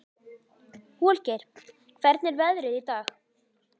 Holgeir, hvernig er veðrið í dag?